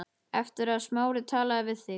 Eftir að Smári talaði við þig.